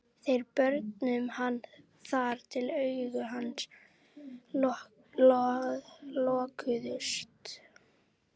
Þeir börðu hann þar til augu hans lokuðust.